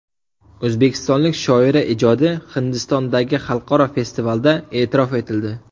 O‘zbekistonlik shoira ijodi Hindistondagi xalqaro festivalda e’tirof etildi.